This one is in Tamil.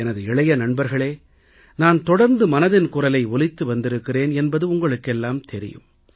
எனது இளைஞர் நண்பர்களே நான் தொடர்ந்து மனதின் குரலை ஒலித்து வந்திருக்கிறேன் என்பது உங்களுக்கெல்லாம் தெரியும்